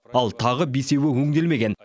ал тағы бесеуі өңделмеген